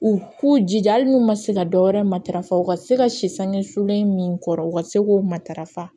U k'u jija hali n'u ma se ka dɔwɛrɛ matarafa u ka se ka si sange sulen min kɔrɔ u ka se k'u matarafa